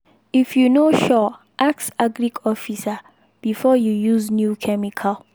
if you no sure ask agric officer before you use new chemical.